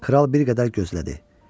Kral bir qədər gözlədi.